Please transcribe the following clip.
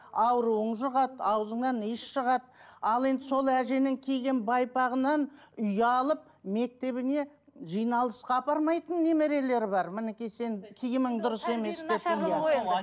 ауруың жұғады ауызыңнан иіс шығады ал енді сол әженің киген байпағынан ұялып мектебіне жиналысқа апармайтын немерлері бар мінекей сенің киімің дұрыс емес деп иә